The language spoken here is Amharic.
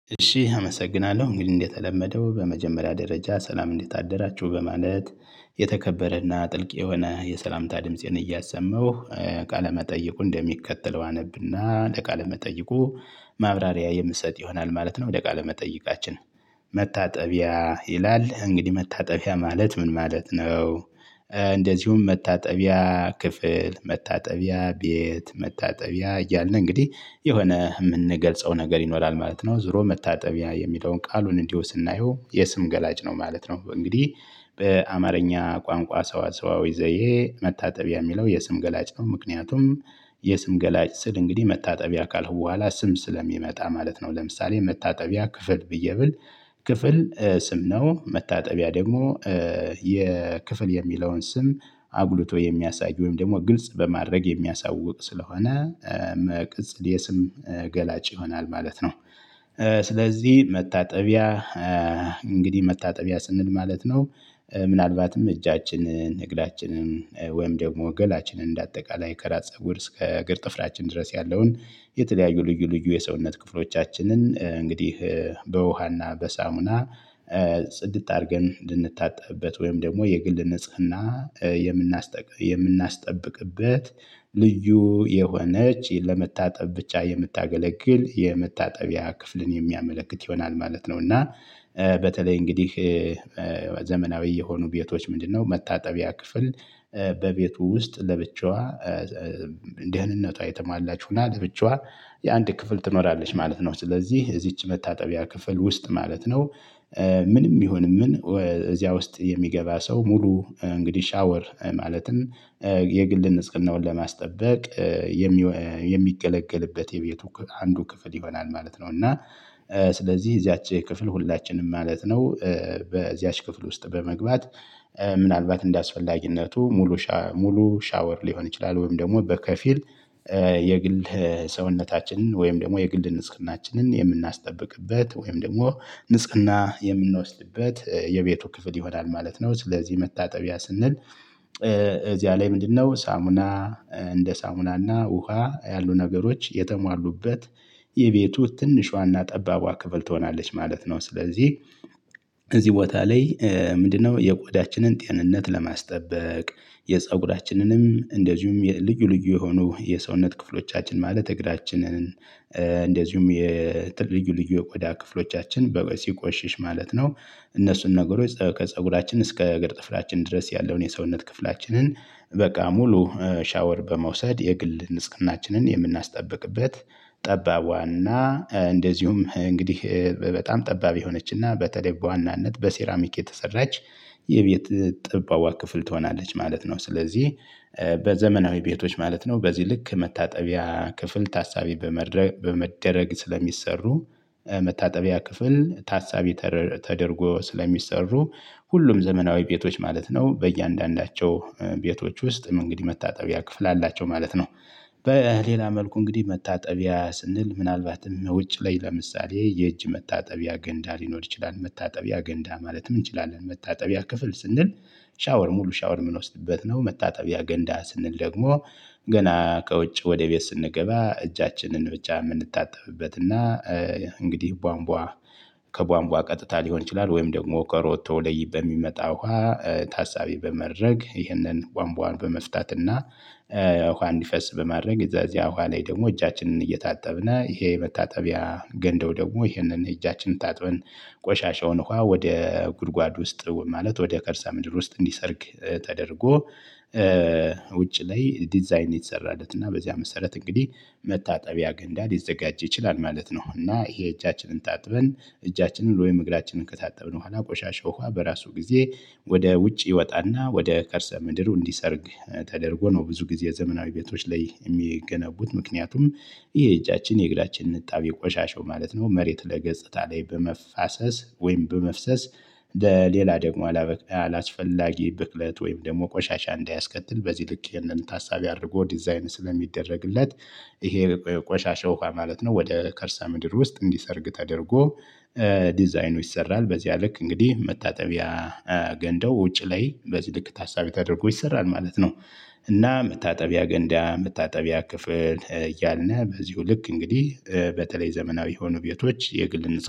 እሺ አመሰግናለሁ እንግዲህ እንደተለመደው በመጀመሪያ ደረጃ ሰላም እንዴት አደራችሁ በማለት የተከበረና ጥልቅ የሆነ የሰላምታ ድምፄን እያሰማው ቃለመጠየቁን እንደሚከተለው አነብና ለቃለመጠየቁ ማብራሪያ የምሰጥ ይሆናል ማለት ነው ወደ ቃለ መጠይቃችን። መታጠቢያ ይላል እንግዲህ መታጠቢያ ማለት ምን ማለት ነው? እንደዚሁም መታጠቢያ ክፍል መታጠቢያ ቤት መታጠቢያ እያልን እንግዲህ የሆነ የምንገልጸው ነገር ይኖራል ማለት ነው ዙሮ መታጠቢያ የሚለውን ቃሉን እንዲሁ ስናየው የስም ገላጭ ነው ማለት ነው። እንግዲህ በአማርኛ ቋንቋ ሰዋሰዋዊ ዘዬ መታጠቢያ የሚለው የስም ገላጭ ነው። ምክንያቱም የስም ገላጭ ስል እንግዲህ መታጠቢያ ካልኩ በኋላ ስም ስለሚመጣ ማለት ነው ለምሳሌ መታጠቢያ ክፍል ብዬ ብል ክፍል ስም ነው። መታጠቢያ ደግሞ የክፍል የሚለውን ስም አጉልቶ የሚያሳይ ወይም ደግሞ ግልጽ በማድረግ የሚያሳውቅ ስለሆነ መቅጽል የስም ገላጭ ይሆናል ማለት ነው። ስለዚህ መታጠቢያ እንግዲህ መታጠቢያ ስንል ምን ማለት ነው? ምናልባትም እጃችንን እግራችንን ወይም ደግሞ ገላችንን እንደ አጠቃላይ ከራስ ፀጉር እስከ እግር ጥፍራችን ድረስ ያለውን የተለያዩ ልዩ ልዩ የሰውነት ክፍሎቻችንን እንግዲህ በውሃና በሳሙና ጽድት አድርገን እንድንታጠብበት ወይም ደግሞ የግል ንጽህና የምናስጠብቅበት ልዩ የሆነች ለመታጠብ ብቻ የምታገለግል የመታጠቢያ ክፍልን የሚያመለክት ይሆናል ማለት ነው። እና በተለይ እንግዲህ ዘመናዊ የሆኑ ቤቶች ምንድነው መታጠቢያ ክፍል በቤቱ ውስጥ ለብቻዋ ደህንነቷ የተሟላች ሁና ለብቻዋ የአንድ ክፍል ትኖራለች ማለት ነው። ስለዚህ እዚች መታጠቢያ ክፍል ውስጥ ማለት ነው ምንም ይሁን ምን እዚያ ውስጥ የሚገባ ሰው ሙሉ እንግዲህ ሻወር ማለትም የግል ንጽህናውን ለማስጠበቅ የሚገለገልበት የቤቱ አንዱ ክፍል ይሆናል ማለት ነው። እና ስለዚህ እዚያች ክፍል ሁላችንም ማለት ነው። በዚያች ክፍል ውስጥ በመግባት ምናልባት እንደአስፈላጊነቱ ሙሉ ሙሉ ሻወር ሊሆን ይችላል ወይም ደግሞ በከፊል የግል ሰውነታችንን ወይም ደግሞ የግል ንጽህናችንን የምናስጠብቅበት ወይም ደግሞ ንጽህና የምንወስድበት የቤቱ ክፍል ይሆናል ማለት ነው። ስለዚህ መታጠቢያ ስንል እዚያ ላይ ምንድነው ሳሙና እንደ ሳሙናና ውሃ ያሉ ነገሮች የተሟሉበት የቤቱ ትንሿና ጠባቧ ከፍል ትሆናለች ማለት ነው። ስለዚህ እዚህ ቦታ ላይ ምንድነው የቆዳችንን ጤንነት ለማስጠበቅ የፀጉራችንንም እንደዚሁም የልዩ ልዩ የሆኑ የሰውነት ክፍሎቻችንን ማለት እግራችንን እንደዚሁም የጥልዩ ልዩ የቆዳ ክፍሎቻችን በ ሲቆሽሽ ማለት ነው። እነሱን ነገሮች ከፀጉራችን እስከ እግር ጥፍራችን ድረስ ያለውን የሰውነት ክፍላችንን በቃ ሙሉ ሻወር በመውሰድ የግል ንጽህናችንን የምናስጠብቅበት ጠባቧና እንደዚሁም እንግዲህ በጣም ጠባብ የሆነችና በተለይ በዋናነት በሴራሚክ የተሰራች የቤት ጠባቧ ክፍል ትሆናለች ማለት ነው። ስለዚህ በዘመናዊ ቤቶች ማለት ነው በዚህ ልክ መታጠቢያ ክፍል ታሳቢ በመደረግ ስለሚሰሩ መታጠቢያ ክፍል ታሳቢ ተደርጎ ስለሚሰሩ ሁሉም ዘመናዊ ቤቶች ማለት ነው በእያንዳንዳቸው ቤቶች ውስጥም እንግዲህ መታጠቢያ ክፍል አላቸው ማለት ነው። በሌላ መልኩ እንግዲህ መታጠቢያ ስንል ምናልባትም ውጭ ላይ ለምሳሌ የእጅ መታጠቢያ ገንዳ ሊኖር ይችላል መታጠቢያ ገንዳ ማለትም እንችላለን መታጠቢያ ክፍል ስንል ሻወር ሙሉ ሻወር የምንወስድበት ነው። መታጠቢያ ገንዳ ስንል ደግሞ ገና ከውጭ ወደ ቤት ስንገባ እጃችንን ብቻ የምንታጠብበት እና እንግዲህ ቧንቧ ከቧንቧ ቀጥታ ሊሆን ይችላል። ወይም ደግሞ ከሮቶ ለይ በሚመጣ ውሃ ታሳቢ በማድረግ ይህንን ቧንቧን በመፍታት እና ውሃ እንዲፈስ በማድረግ እዛ እዚያ ውሃ ላይ ደግሞ እጃችንን እየታጠብን ይሄ መታጠቢያ ገንዳው ደግሞ ይሄንን እጃችንን ታጥበን ቆሻሻውን ውሃ ወደ ጉድጓድ ውስጥ ማለት ወደ ከርሰ ምድር ውስጥ እንዲሰርግ ተደርጎ ውጪ ላይ ዲዛይን የተሰራለት እና በዚያ መሰረት እንግዲህ መታጠቢያ ገንዳ ሊዘጋጅ ይችላል ማለት ነው። እና ይሄ እጃችንን ታጥበን እጃችንን ወይም እግራችንን ከታጠብን በኋላ ቆሻሻ ውሃ በራሱ ጊዜ ወደ ውጭ ይወጣና ወደ ከርሰ ምድሩ እንዲሰርግ ተደርጎ ነው። ብዙ ጊዜ ዘመናዊ ቤቶች ላይ የሚገነቡት ምክንያቱም የእጃችን የእግራችን እጣቢ ቆሻሻው ማለት ነው መሬት ለገጽታ ላይ በመፋሰስ ወይም በመፍሰስ ሌላ ደግሞ አላስፈላጊ ብክለት ወይም ደግሞ ቆሻሻ እንዳያስከትል በዚህ ልክ ይሄንን ታሳቢ አድርጎ ዲዛይን ስለሚደረግለት። ይሄ ቆሻሻው ውሃ ማለት ነው ወደ ከርሰ ምድር ውስጥ እንዲሰርግ ተደርጎ ዲዛይኑ ይሰራል። በዚያ ልክ እንግዲህ መታጠቢያ ገንዳው ውጪ ላይ በዚህ ልክ ታሳቢ ተደርጎ ይሰራል ማለት ነው። እና መታጠቢያ ገንዳ መታጠቢያ ክፍል እያልነ በዚሁ ልክ እንግዲህ በተለይ ዘመናዊ የሆኑ ቤቶች የግል ንጽህና